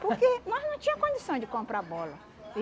Porque nós não tinha condições de comprar bola.